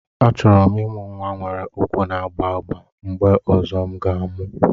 Achọrọ m ịmụ nwa nwere ụkwụ na-agba agba mgbe ọzọ m ga-amụ